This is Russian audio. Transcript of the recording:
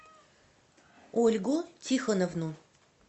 ольгу тихоновну